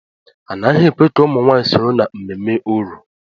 Anaghị ekwe ka ụmụ nwanyị soro na mmemme Oro.